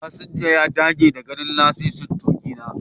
Fasinja ya dage da ganin lasisin tuki na.